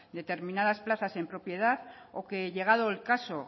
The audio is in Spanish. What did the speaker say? determinadas plazas en propiedad o que llegado el caso